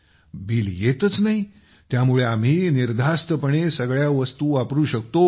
bill येतच नाही त्यामुळे आम्ही निर्धास्तपणे सगळ्या वस्तू वापरू शकतो